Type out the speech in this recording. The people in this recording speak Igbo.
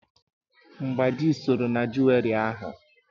Mgbáji sọrọ na juweri ahu